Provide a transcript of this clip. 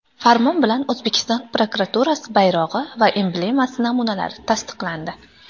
Farmon bilan O‘zbekiston prokuraturasi bayrog‘i va emblemasi namunalari tasdiqlandi.